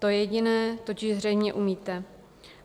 To jediné totiž zřejmě umíte.